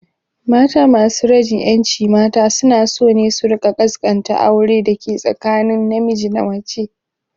Mata masu rajin ƴancin mata suna so ne su rika kaskanta aure dake tsakanin na miji da mace